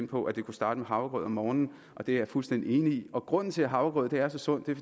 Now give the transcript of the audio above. på at det kunne starte med havregrød om morgenen og det er jeg fuldstændig enig i og grunden til at havregryn er så sundt er